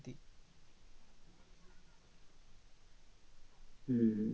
হম হম হম